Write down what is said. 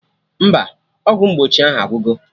Mba, ọgwụ mgbochi ahụ agwugo